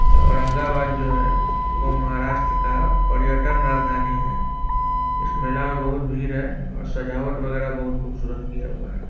ये औरंगाबाद जो है वो महाराष्ट्र का पर्यटन राजधानी है। इस मेला में बहुत भीड़ है और सजावट वगैरा बहुत खूबसूरत किया हुआ है।